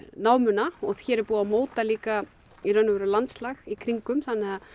námuna og hér er búið að móta líka í raun og veru landslag í kringum þannig að